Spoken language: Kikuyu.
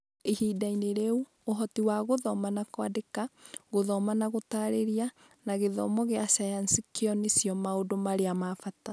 Ihinda-inĩ rĩu, ũhoti wa gũthoma na kwandĩka, gũthoma na gũtarĩria, na gĩthomo gĩa sayansi kĩo nĩcio maũndũ marĩa ma bata.